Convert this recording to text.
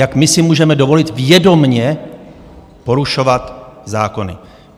Jak my si můžeme dovolit vědomě porušovat zákony?